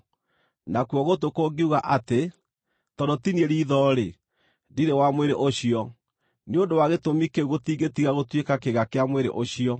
Nakuo gũtũ kũngiuga atĩ, “Tondũ ti niĩ riitho-rĩ, ndirĩ wa mwĩrĩ ũcio,” nĩ ũndũ wa gĩtũmi kĩu gũtingĩtiga gũtuĩka kĩĩga kĩa mwĩrĩ ũcio.